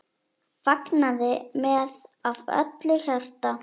Fagnaði með af öllu hjarta.